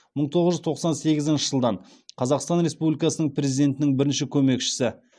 мың тоғыз жүз тоқсан сегізінші жылдан қазақстан республикасының президентінің бірінші көмекшісі